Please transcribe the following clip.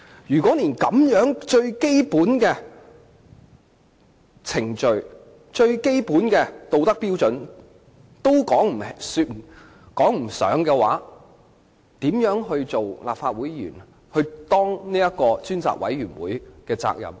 如果他連最基本的程序和道德標準也未能符合，他如何能盡其身為立法會議員或專責委員會委員的責任？